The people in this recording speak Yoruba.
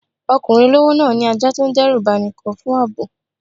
Ọkùnrin olówó náà ní ajá tó ń dẹ́rù bani kan fún ààbò.